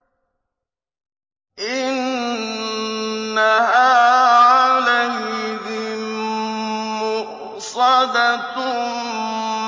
إِنَّهَا عَلَيْهِم مُّؤْصَدَةٌ